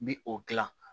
N bi o gilan